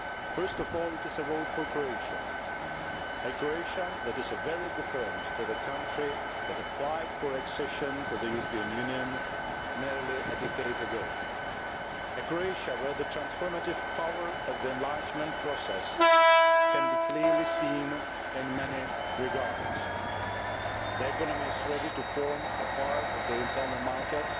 First of all, it is a vote for Croatia a Croatia that is very different to the country that applied for accession to the European Union nearly a decade ago, a Croatia where the transformative power of the enlargement process can be clearly seen in many regards. The economy is ready to form a part of the internal market